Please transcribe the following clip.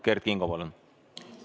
Kert Kingo, palun!